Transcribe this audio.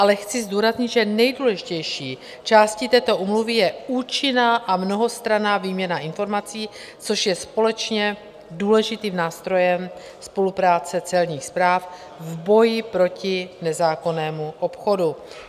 Ale chci zdůraznit, že nejdůležitější částí této úmluvy je účinná a mnohostranná výměna informací, což je společně důležitým nástrojem spolupráce celních správ v boji proti nezákonnému obchodu.